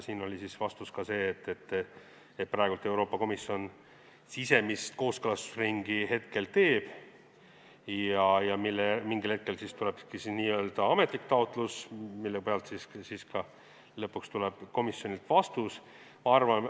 Siin oli vastus, et praegu Euroopa Komisjon sisemist kooskõlastusringi teeb ja mingil hetkel tuleb ametlik taotlus, mille põhjal lõpuks tuleb komisjonilt vastus.